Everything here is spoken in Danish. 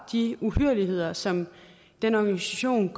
de uhyrligheder som den organisation